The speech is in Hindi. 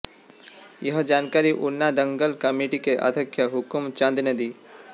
यह जानकारी ऊना दंगल कमेटी के अध्यक्ष हुकम चंद ने दी